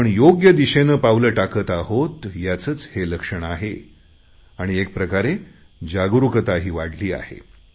आपण योग्य दिशेने पावले टाकत आहोत याचेच हे लक्षण आहे आणि एक प्रकारे जागरुकताही वाढली आहे